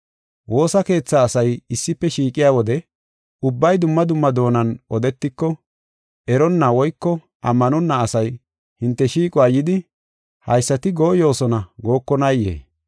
Woosa keethaa asay issife shiiqiya wode, ubbay dumma dumma doonan odetiko eronna woyko ammanonna asay hinte shiiquwa yidi, “Haysati gooyosona” gookonayee?